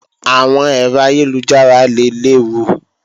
Àwọn ẹ̀rọ ayélujára lè léwu